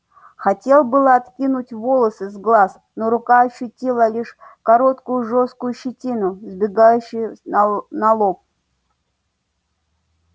хотел было откинуть волосы с глаз но рука ощутила лишь короткую жёсткую щетину сбегающую на лоб